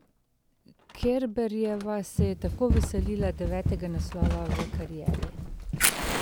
Kerberjeva se je tako veselila devetega naslova v karieri.